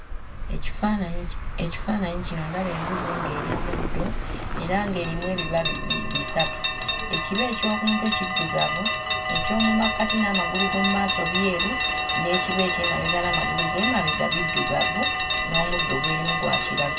Ekifaananyi ki ekifaananyi kino ndaba embuzi ng'erya muddo era ng'erimu ebiba bisatu. Ekiba eky'oku mutwe kiddugavu, eky'omu makkati n'amagulu g'omu maaso byeru, n'ekiba eky'emabega n'amagulu g'emabega biddugavu, n'omuddo gw'erimu gwa kiragala.